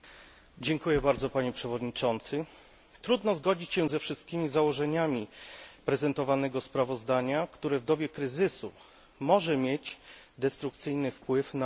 Trudno zgodzić się ze wszystkimi założeniami prezentowanego sprawozdania, które z dobie kryzysu może mieć destrukcyjny wpływ na przedsiębiorstwa Unii Europejskiej.